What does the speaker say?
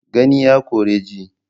Gani ya ƙore ji.